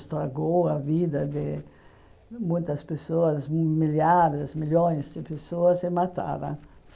Estragou a vida de muitas pessoas, milhares, milhões de pessoas e mataram.